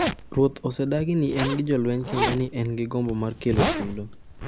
Ruoth osedagi ni en gi jolweny kendo ni en gi gombo mar kelo tulo